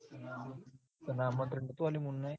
તન આમંત્રણ નતુ આલ્યું મુન્નાએ?